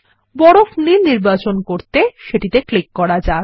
বরফ নীল নির্বাচন করতে সেটিকে ক্লিক করা যাক